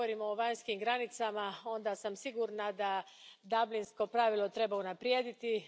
Kad govorimo o vanjskim granicama, sigurna sam da dublinsko pravilo treba unaprijediti.